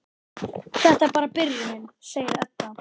Þetta er bara byrjunin, segir Edda.